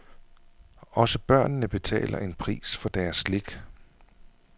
Også børnene betaler en pris for deres slik.